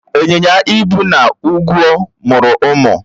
B. Ịnyịnya ibu na ugwó mụrụ ụmụ